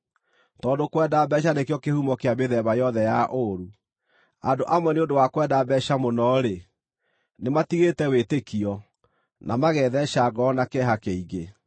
Tondũ kwenda mbeeca nĩkĩo kĩhumo kĩa mĩthemba yothe ya ũũru. Andũ amwe nĩ ũndũ wa kwenda mbeeca mũno-rĩ, nĩmatigĩte wĩtĩkio, na magetheeca ngoro na kĩeha kĩingĩ.